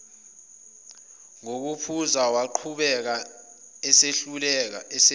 nokuphuza waqhamuka esehleka